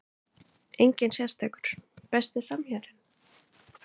Enginn sérstakur Besti samherjinn?